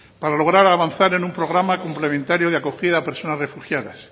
para lograr avanzar en un programa complementario de acogida a personas refugiadas